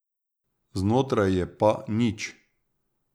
Znotraj je pa nič.